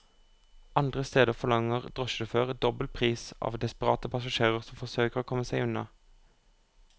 Andre steder forlanger drosjesjåfører dobbel pris av desperate passasjerer som forsøker å komme seg unna.